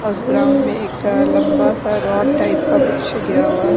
और उस ग्राउंड में एक लंबा सा रॉड टाइप का कुछ गिरा हुआ है।